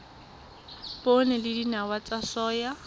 poone le dinawa tsa soya